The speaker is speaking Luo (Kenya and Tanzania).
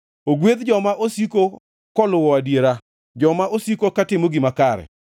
Ogwedh joma osiko koluwo adiera, joma osiko katimo gima kare.